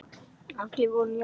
Allir voru jafnir fyrir þér.